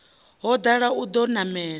ho dala o ḓo namela